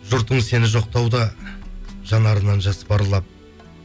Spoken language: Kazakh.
жұртың сені жоқтауда жанарынан жас парлап